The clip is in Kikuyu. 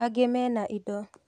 Angĩ mena indo.